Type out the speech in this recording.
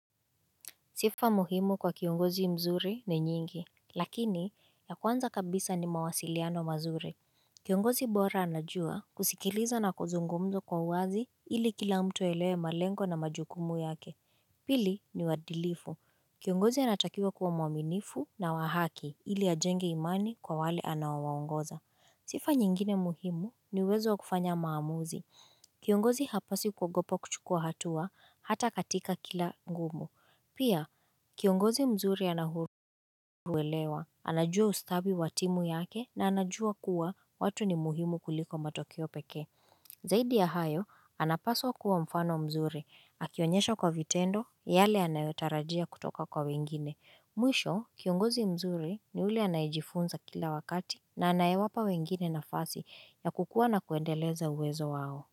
Sifa muhimu kwa kiongozi mzuri ni nyingi, lakini ya kwanza kabisa ni mawasiliano mazuri. Kiongozi bora anajua kusikiliza na kuzungumzo kwa uwazi ili kila mtu aelewe malengo na majukumu yake. Pili ni uadilifu. Kiongozi anatakiwa kuwa mwaminifu na wa haki ili ajenge imani kwa wale anaowaongoza. Sifa nyingine muhimu ni uwezo kufanya maamuzi. Kiongozi hapa si kuogopa kuchukua hatua hata katika kila ngumu. Pia, kiongozi mzuri anauelewa, anajua ustadi wa timu yake na anajua kuwa watu ni muhimu kuliko matokeo pekee. Zaidi ya hayo, anapaswa kuwa mfano mzuri, akionyesha kwa vitendo, yale anayotarajia kutoka kwa wengine. Mwisho, kiongozi mzuri ni ule anayejifunza kila wakati na anayewapa wengine nafasi ya kukua na kuendeleza uwezo wao.